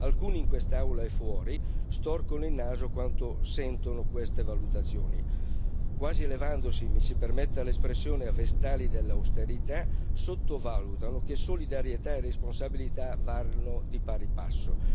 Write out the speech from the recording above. Alcuni in quest'Aula e fuori storcono il naso quando sentono queste valutazioni, quasi elevandosi, mi si permetta l'espressione, a vestali dell'austerità, sottovalutando che solidarietà e responsabilità vanno di pari passo.